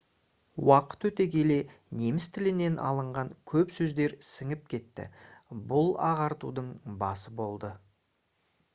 уақыт өте келе неміс тілінен алынған көп сөздер сіңіп кетті бұл ағартудың басы болды